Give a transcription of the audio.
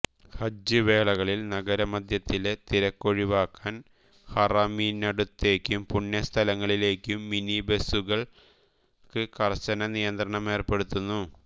ഹജ്ജ് വേളകളിൽ നഗര മധ്യത്തിലെ തിരക്കൊഴിവാക്കാൻ ഹറമിനടുത്തേക്കും പുണ്യ സ്ഥലങ്ങളിലേക്കും മിനി ബസുകൾക്ക് കർശന നിയന്ത്രണമേർപ്പെടുത്തുന്നു